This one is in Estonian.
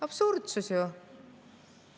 Absurdsus ju!